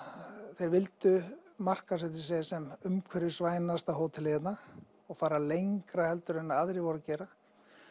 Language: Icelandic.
þeir vildu markaðssetja sig sem umhverfisvænasta hótelið hérna og fara lengra heldur en aðrir voru að gera